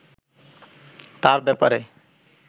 তাঁর ব্যাপারে